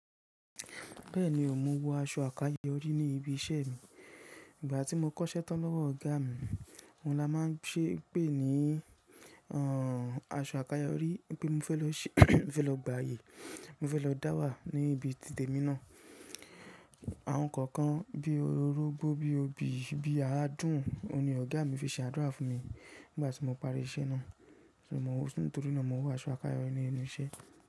Bẹ́ẹ̀ni, mo ń wọ aṣọ àkayò orí ní ibi iṣẹ́ mi. Ìgbà tí mo kọ́ṣẹ́ tán lọ́wọ́ ọ̀gá mi, òun la máa ń ṣe é pè ní àṣọ àkayò orí wípé mo fẹ́ lọ gbàyè, mo fẹ́ lọ dáwà ní ibi tìtẹ̀ mi náà. Àwọn ǹkan kan bí i orógbó, bí i obì, bí i adùn ni ọ̀gá mi fi ṣe àdúrà fún mi nígbà tí mo parí iṣẹ́ náà. Nítorí náà mo wọ aṣọ àkayò orí ní inú iṣẹ́.